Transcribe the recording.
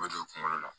U bɛ don kungolo la